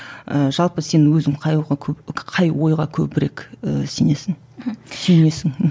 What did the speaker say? ыыы жалпы сен өзің қай қай ойға көбірек ііі сенесің мхм сүйенесің мхм